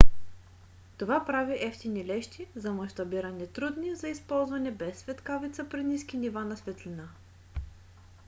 това прави евтини лещи за мащабиране трудни за използване без светкавица при ниски нива на светлина